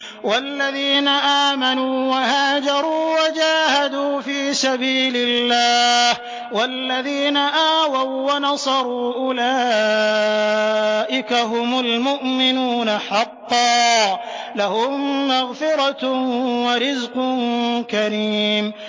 وَالَّذِينَ آمَنُوا وَهَاجَرُوا وَجَاهَدُوا فِي سَبِيلِ اللَّهِ وَالَّذِينَ آوَوا وَّنَصَرُوا أُولَٰئِكَ هُمُ الْمُؤْمِنُونَ حَقًّا ۚ لَّهُم مَّغْفِرَةٌ وَرِزْقٌ كَرِيمٌ